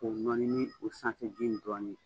K'o nɔni ni o sanfɛji in dɔɔnin ye.